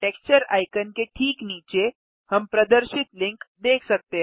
texture icon के ठीक नीचे हम प्रदर्शित लिंक देख सकते हैं